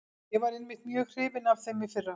Ég var einmitt mjög hrifinn af þeim í fyrra.